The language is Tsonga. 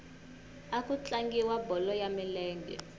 a ku tlangiwa bolo ya milenge